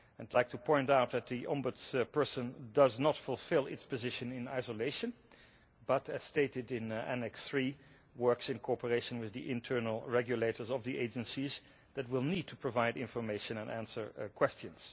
I would like to point out that the ombudsperson does not fulfil its position in isolation but, as stated in Annex III, works in cooperation with the internal regulators of the agencies who will need to provide information and answer questions.